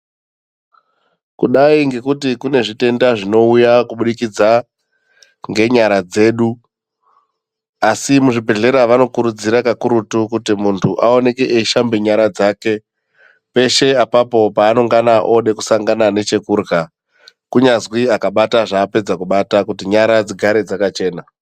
Kudai ngekuti kunezvitenda zvinoita ngekubudikidza ngenyara dzedu kakurutu zvizvibhehlera vanokurudzira kuti munhu aoneke eishamba nyara dzake kuti aoneke eishandisa mitombo dzake peshe apapo pavanenge oda kusangana nechekudya kunyanzwi apapedza kubata kuti nyara dzigare dzakachena.